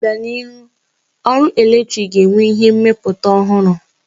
N'obianihu, ọrụ eletrik ga-enwe ihe mmepụta ọhụrụ.